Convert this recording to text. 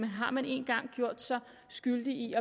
har man en gang gjort sig skyldig i